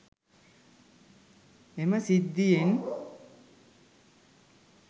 එම සිද්ධියෙන්